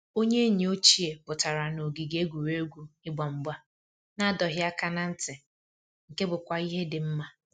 Onye enyi ochie pụtara na ogige egwuregwu ịgba mgba na adọghị aka na ntị, nke bụkwa ihe dị mma